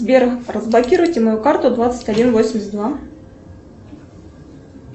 сбер разблокируйте мою карту двадцать один восемьдесят два